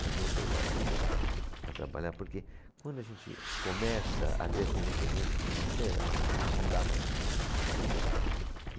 Mas voltei logo a trabalhar, porque quando a gente começa a ter essa independência financeira, não dá mais.